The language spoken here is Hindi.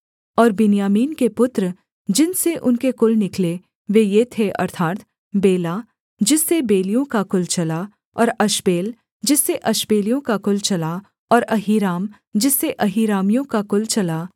और बिन्यामीन के पुत्र जिनसे उनके कुल निकले वे ये थे अर्थात् बेला जिससे बेलियों का कुल चला और अश्बेल जिससे अशबेलियों का कुल चला और अहीराम जिससे अहीरामियों का कुल चला